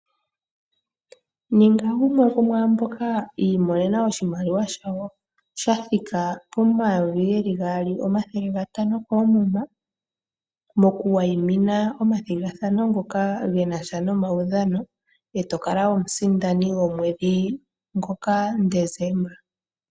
Ninga gumwe gwomwaamboka yi imonena oshimaliwa shawo shathika pomayovi geli gaali omathele gatano koomumuma moku wayimina omathigathano ngoka genasha nomaudhano etokala omusindani gwogwedhi ngoka Deseemba.